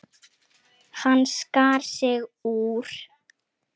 Hann skar sig úr.